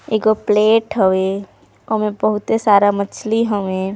एको प्लेट हवेओमे बहुत ही सारा मछली हवे।